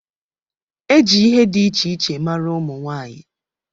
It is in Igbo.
E ji ihe dị iche iche mara ụmụ nwaanyị.